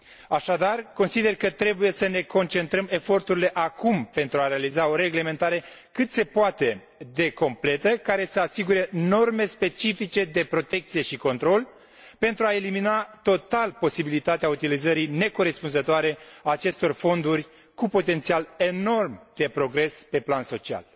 Așadar, consider că trebuie să ne concentrăm eforturile acum pentru a realiza o reglementare cât se poate de completă, care să asigure norme specifice de protecție și control, pentru a elimina total posibilitatea utilizării necorespunzătoare a acestor fonduri cu potențial enorm de progres pe plan social.